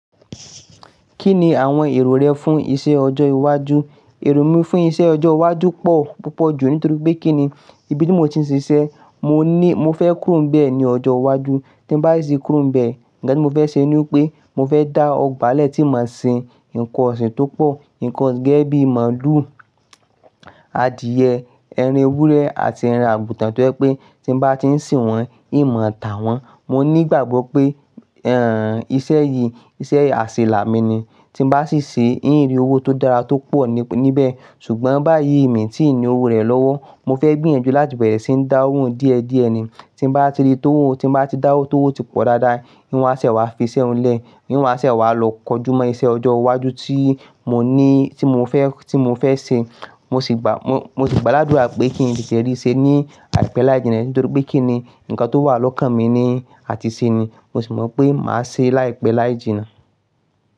Kí ni àwọn èrò rẹ fún iṣẹ́ ọjọ́ iwájú? Èrò mi fún iṣẹ́ ọjọ́ iwájú pọ̀ púpọ̀ ju nítorí pé kí ni, ibi tí mo ti ń ṣiṣẹ́, mo ní, mo fẹ́ kúro n bẹ́ ní ọjọ́ iwájú. Tí n bá sì ti kúro n bẹ́ẹ̀, nkan tí mo fẹ́ ṣe ni pé mo fẹ́ dá ọgbà lẹ̀ tí n mo sin nkan ọ̀sìn tó pọ̀, nkan osin gẹ́gẹ́ bíi màlúù, adìẹ, ẹran ewúrẹ́ àti ẹran àgùntàn tó jẹ pé tí n bá ti ń sin wọ́n, n mo tà wọ́n. Mo ní ìgbàgbọ́ pé, ẹ́ǹ, iṣẹ́ yìí, iṣẹ́ àṣelà mi ni. Tí n bá sì ṣe, n ri owó tó dára tó pọ̀ níbẹ̀. Ṣùgbọ́n báyìí, ni tìí ní owó rẹ̀ lọ́wọ́. Mo fẹ́ gbìyànjú láti bẹ̀rẹ̀ sí ní dá owó n díẹ̀ díẹ̀ ni. Tí n bá ti ri tówó n, tí n bá ti dá owó tówó ti pọ̀ dáadáa, n wa sẹ̀ wá fi iṣẹ́ ń lẹ̀, n wa sẹ̀ wá lọ kọjúmọ́ iṣẹ́ ọjọ́ iwájú tí mo ní, tí mo fẹ́, tí mo fẹ́ ṣe. Mo sì gbà, mo, mo sì gbà ládùrá pé kí n tètè rí i ṣe ní àìpẹ́ láì jìnnà nítorí pé kí ni, nkan tó wà lọ́kàn mi ni àti ṣe ni. Mo sì mọ̀ pé màá ṣe é láìpẹ́ láì jìnnà.